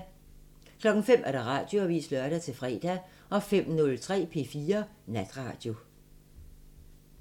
05:00: Radioavisen (lør-fre) 05:03: P4 Natradio